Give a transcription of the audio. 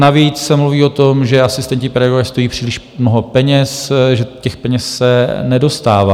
Navíc se mluví o tom, že asistenti pedagoga stojí příliš mnoho peněz, že těch peněz se nedostává.